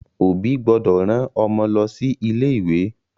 Òbí gbọ́dọ̀ rán Ọmọ lọ sí ilé ìwé